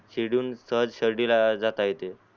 शिर्डी वरुण तेव्हाच शिर्डीला जाता येते